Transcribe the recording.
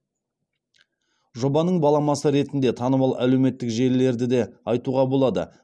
жобаның баламасы ретінде танымал әлеуметтік желілерді де айтуға болады